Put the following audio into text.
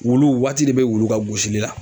Wulu waati de be wulu ka gosili la